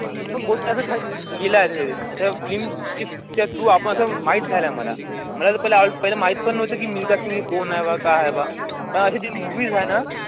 पण पैसा खर्च केलाय च्या through असं माहीत झालयं मला, मला तर पाहिलं माहित पण नव्हतं मिल्का सिंग कोण आहे बा काय आहे बा, तर अशी ती movies आहे ना